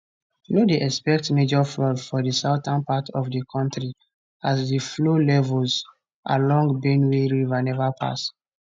no dey expect major flood for di southern part of di kontri as di flow levels along benue river neva pass